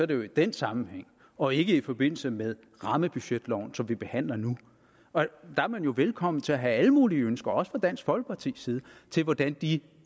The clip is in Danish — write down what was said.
det jo i den sammenhæng og ikke i forbindelse med rammebudgetloven som vi behandler nu der er man jo velkommen til at have alle mulige ønsker også fra dansk folkepartis side til hvordan de